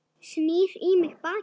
Snýr í mig bakinu.